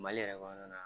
Mali yɛrɛ kɔnɔna na